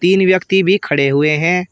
तीन व्यक्ति भी खड़े हुए हैं।